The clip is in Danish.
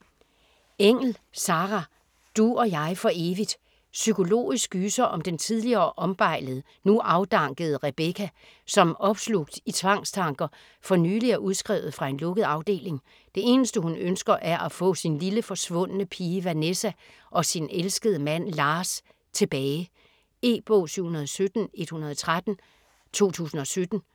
Engell, Sarah: Du og jeg for evigt Psykologisk gyser om den tidligere ombejlede, nu afdankede Rebecca, som opslugt i tvangstanker, for nylig er udskrevet fra en lukket afdeling. Det eneste hun ønsker er at få sin lille forsvundne pige Vanessa, og sin elskede mand Lars tilbage. E-bog 717113 2017.